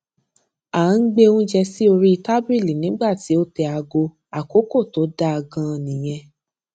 à ń gbé oúnjẹ sí orí tábìlì nígbà tí o tẹ aago àkókò tó dáa ganan nìyẹn